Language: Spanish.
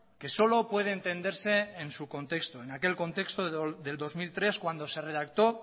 que solo puede entenderse en su contexto en aquel contexto del dos mil tres cuando se redactó